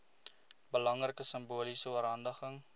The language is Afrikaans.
belangrike simboliese oorhandiging